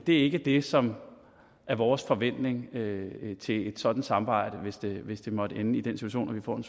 ikke det som er vores forventning til et sådant samarbejde hvis det måtte ende i den situation